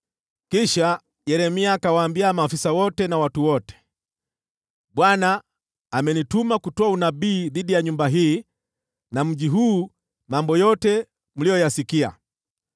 Kisha Yeremia akawaambia maafisa wote na watu wote: “ Bwana amenituma kutoa unabii dhidi ya nyumba hii na mji huu mambo yote mliyoyasikia.